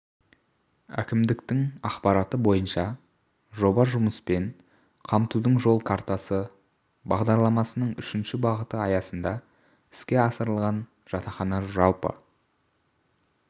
әкімдіктің ақпараты бойынша жоба жұмыспен қамтудың жол картасы бағдарламасының үшінші бағыты аясында іске асырылған жатақхана жалпы